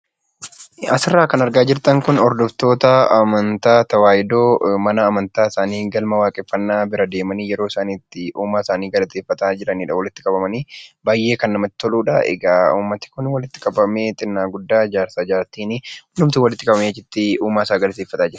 Suuraa kanaa gadii irratti kan argamu hordoftoota Kiristaanaa Orthodox Taawwayidoo yammuu ta'an; yeroo isaan mana kiristaanaa deemuun Waaqayyoon galateeffachaa jiranii dha. Kunis namoonni hedduun walitti qabamanii kan jiranii fi baayyee kan miidhaganii dha.